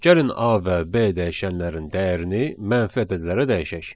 Gəlin A və B dəyişənlərin dəyərini mənfi ədədlərə dəyişək.